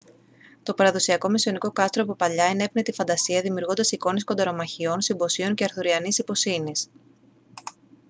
το παραδοσιακό μεσαιωνικό κάστρο από παλιά ενέπνεε τη φαντασία δημιουργώντας εικόνες κονταρομαχιών συμποσίων και αρθουριανής ιπποσύνης